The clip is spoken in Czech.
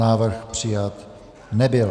Návrh přijat nebyl.